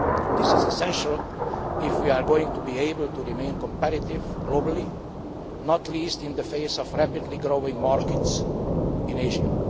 This is essential if we are going to be able to remain competitive globally, not least in the face of rapidly growing markets in Asia.